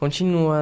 Continua.